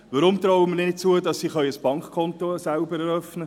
Warum trauen wir ihnen nicht zu, selbst ein Bankkonto eröffnen zu können?